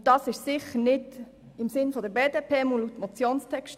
Und das ist sicher nicht tim Sinn der BDP, jedenfalls nicht im Motionstext.